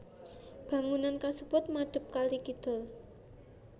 Bangunan kasebut madep kali kidul